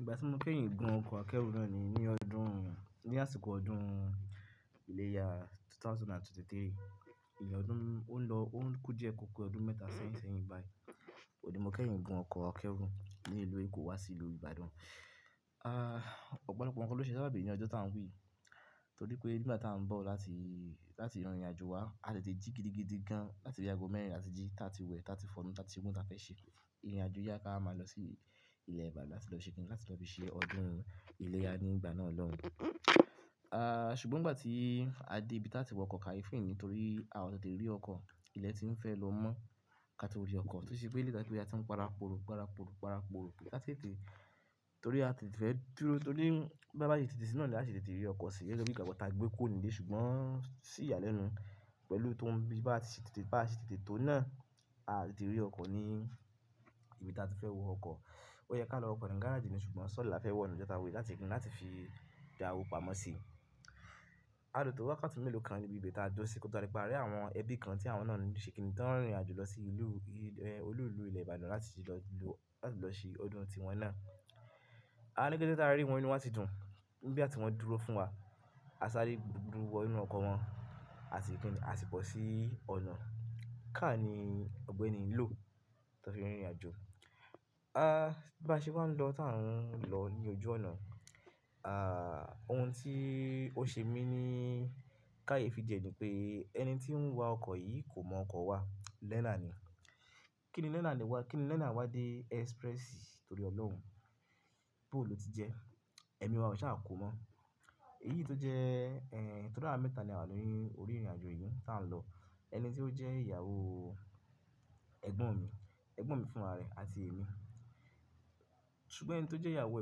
Ìgbà tí mo kẹ́yìn gun ọkọ̀ akẹ́rù náà ní, ní ọdún, ní àsìkò ọdún ilẹ̀ya ẹgbẹ̀rún méjì ó lé ẹ́tàlélógún. Ìní ọdún ó lọ, ó ń kú díẹ̀ kọ̀ọ̀kọ̀ ọdún mẹ́ta sẹ́yìn sẹ́yìn báyìí. Ó di mo fẹ́yìn gbé ọkọ̀ akẹ́rù ní ìlú Èkó wá sí ìlú Ìbàdàn. Ah ọ̀pọ̀lọpọ̀ nkan ló ṣe sabàbì ní ọjọ́ tá ń wí yìí. Torí pé nígbà tá ń bọ̀ láti, láti ìrìnàjò wa, a tètè jí gidigidi gan láti bi aago mẹ́rin la ti jí, ta ti wẹ̀, ta ti fọnú, ta ti se gbogbo ohún táfẹ́ ṣe. Ìrìnàjò yá ká wa máa lọ sí ilẹ̀ Ìbàdàn láti lọ ṣe kín ní láti lọ fi ṣe ọdún ilẹ̀ya ní ìgbà náà lọ́hùn. Ah ṣùgbọ́n ìgbà tí a dé ibi tá tí wọkọ̀ káyeefi ni torí àọ tètè rí ọkọ̀ ilẹ̀ tí ń fẹ́ lọ mọ́ ká tó rí ọkọ̀. Toṣe pé lè dá pé a ti ń para pooru, para poro, para poro tètè tètè torí a tètè fẹ́ dúró torí bá bá ṣe tètè sí náà l'a se tètè rí ọkọ̀ sí. Gege bi ìgbàgbọ́ tàgbẹ́ kuró nílé ṣùgbọ́n sí ìyálẹ́nu pẹ̀lú tó ń bí bá ṣe tètè tó náà a tètè rí ọkọ̀ ní ibi tá tí fẹ́ wo ọkọ̀. Ó yẹ ká lọ w'ọkọ̀ ní gáràajì ni ṣùgbọ́n sọ́ọ̀le l'áfẹ́ wọ̀ nijọ́ ta n wi yi láti se kinni láti fi dá owó pamọ́ sí i. A lò tó wákàtí mélòó kan níbi ibi tá a duró sí kí ó tó wa dipé a rí àwọn ẹbí kan tí àwọn náà ń ṣe kín ní tán rìnrìnàjò lọ sí ìlú, olú ìlú ilẹ̀ Ìbàdàn láti ti lọ ìlú, láti lọ ṣe ọdún tiwọn náà. A ní kètè ti a rí wọn nínú wá ti dùn. Nígbà ti wọn dúró fún wa, a sáre dú wọ inú ọkọ̀ wọn, a si kín ni a si bọ̀ sí ọ̀nà. Car ní ọgbẹni ló tó fi rìnrìnàjò. Ah bá ṣe wá ń lọ tá ń lọ ní ojú ọ̀nà, ah ohun tí ó ṣe mí ní káyeefi diẹ ní pé ẹni tí ń wa ọkọ̀ yìí kò mọ ọkọ̀ wa. Learner ni. Kí ni learner wá dé ẹ́sprẹ́sì torí Ọlọ́run boo ló ti jẹ. Ẹ̀mí wa ò ṣe à kó mọ́. Èyí tó jẹ́ ẹ̀n torí àwa mẹ́ta ni àwa ni orí ìrìnàjò yìí tá ń lọ. Ẹni tí ó jẹ́ ìyàwó ẹ̀gbọ́n mi, ẹ̀gbọ́n mi fún'ra rẹ̀ àti èmi. Ṣùgbọ́n ẹni tó jẹ́ ìyàwó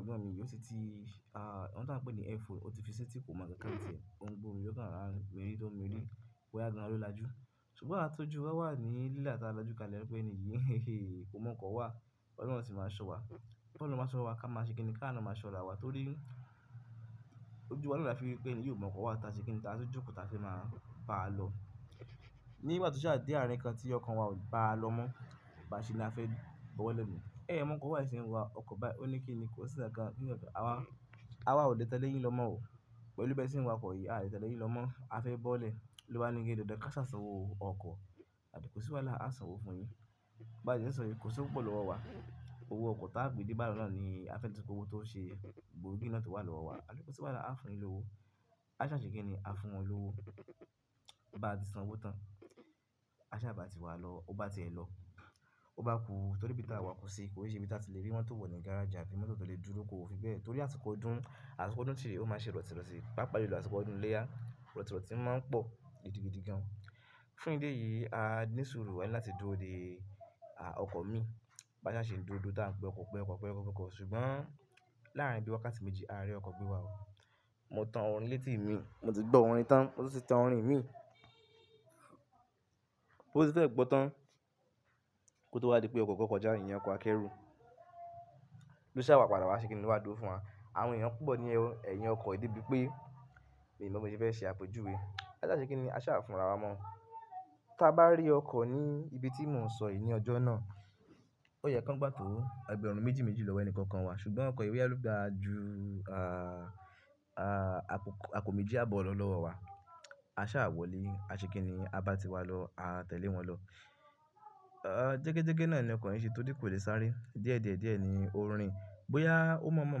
ẹ̀gbọ́n mi yìí ó ti ti ah ọ̀hun tí a ń pè ní airphone, ó ti fi setí kò mọ̀ nkáǹkan tiẹ̀. On gbó'rin ó kàn rora n miri to mir. Boya gan an ló lajú. Ṣùgbọ́n awa tọ́jú wa wà ní lílà tá a la'jú kálẹ̀ wipe ẹni yìí kò mọ ọkọ̀ wa. Ọlọ́run ó sì máa ṣọ́ wa. Ọlọ́run máa ṣọ́ wa ká má ṣe kín ní ká à má ṣọ́ra wa torí ojú wa ló láfi rí pé ènìyí ò mọ̀ ọkọ̀ wa tá ṣe kín ní tá tun jókòó tá fẹ́ má bá a lọ. Nígbà tó ṣaà dé àárín kan tí ọkan wa ò bá a lọ mọ́, ba ṣe ni a fẹ́ bọ́ọ́lẹ́ niyen. "Ẹ́ è mọ́ ọkọ̀ wa è ṣi ń wa ọkọ̀ báyi oní kín ni kò sí nkàǹkàn." Awá, awá ò le tẹ́lẹ̀ yín lọ́mọ́ o. Pẹ̀lú bi é ṣe n wakọ̀ yìí a tẹ́lẹ̀ yín lọ́mọ́ a fẹ́ bọ́lẹ̀. Lobani pe dandan k'áṣà sanwó owó ọkọ̀. Abí kòsí wáalá a sanwó fún yín. Bá tí ń sọ yii kò sí ọwọ́ pupọ̀ lówọ̀ wá. Owó ọkọ̀ táa gbè de'bádan náà ni a fẹ́ le so ko owó tó ṣe gbòógì náà towà lọ́wọ́ wa. Abí kò sí wáalá a fún un yin lówó. A ṣà ṣe kín ni a fún wọn lówó. Bá ti san owó tán, a ṣà bá ti wá lọ. Ó bá ti ẹ̀ lọ, ó bá kú torí bí tá a wọ̀ kọ́ sí i kò yé ṣe bí tá ti lè rí mọ́tò wọ̀ ní gáràjì àfi mọ́tò tó lè dúró kóró fi bẹ́ẹ̀ torí àsìkò ọdún, àsìkò ọdún tìrẹ ó máa ṣe rọ̀tìrọ̀tì. Pápá ìlú àsìkò ọdún ilẹ̀ya rọ̀tìrọ̀tì máa ń pọ̀ gidigidi gan. Fún idi eyìí a ní sùúrù ani láti dúró dé ah ọkọ̀ mi. B'ásà ṣe ń dúró tá ń pé ọkọ̀, pé ọkọ̀, pé ọkọ̀, pé ọkọ̀ ṣùgbọ́n láàárín bí wákàtí méjì a rí ọkọ̀ gbe wá o. Mo tan orin létí mi, mo ti gbọ́ orin tán, mo tun ti tan orin mi. Ó ti fẹ́ gbọ́tán kó tó wá di pé ọkọ̀ kan kọjá ìyen ọkọ̀ akẹ́rù. Ló ṣà wá padà wá ṣe kín ni lo wá dúró fún wa. Àwọn ènìyàn púpọ̀ ni ẹ́, ẹ̀yìn ọkọ̀ yìí debí pé mii mo bi mọ̀ se fẹ́ ṣe àpejúwe. A ṣà ṣe kín ni a ṣà fún'ra wa mọ́. Tá bá rí ọkọ̀ ní ibi tí mò ń sọ yìí ní ọjọ́ náà, ó yẹ ká ń gbà tó ẹgbẹ̀rún méjì méjì lọ́wọ́ ẹni kankan wa ṣùgbọ́n ọkọ̀ èrò yá ló gba jú ah ah àpò méjì àbọ̀ lọ́ lọ́wọ́ wa. A ṣà wọlé, a ṣe kín ni a bá ti wá lọ a tẹ̀lé wọn lọ. Ah jẹ́gẹ́jẹ́gẹ́ náà ni ọkọ̀ yìí n ṣe torí kò lè sáré. Díẹ̀díẹ̀díẹ̀ ni on rin. Bóyá ó mọ̀ mọ̀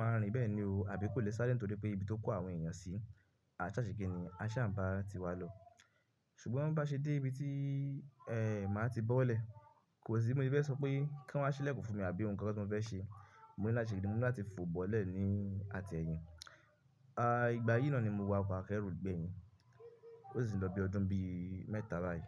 máa rìn bẹ́ẹ̀ ni o àbí kò lè sáré nítorí pé ibi tó kó àwọn ènìyàn sí i. A ṣà ṣe kín ni a ṣà ń bá ti wá lọ. Ṣùgbọ́n bá ṣe dé ibi tí ẹ́ má tí bọ́ọ́lẹ̀, kò sí bi mo se fẹ́ sọ pé kí wọ́n wá ṣílẹ̀kùn fún mi àbí ohun kan tí mo fẹ́ ṣe. Mo ní láti se kíni mo ní láti fò bọ́olẹ̀ ni àtẹ́yìn. Ah ìgbà yìí náà ni mo wọ ọkọ̀ akẹ́rù gbẹ̀yìn. Ó sì ń lọ bi ọdún bíi mẹ́ta báyìí.